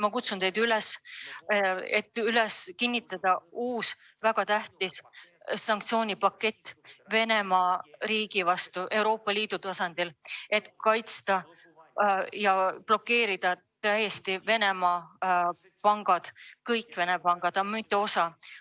Ma kutsun teid üles kinnitama Euroopa Liidu tasandil uut väga tähtsat sanktsioonipaketti Venemaa vastu, et blokeerida täielikult Venemaa pangad – kõik Venemaa pangad, mitte ainult osa neist.